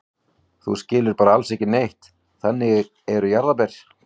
Þú skilur bara alls ekki neitt, þannig eru jarðarber.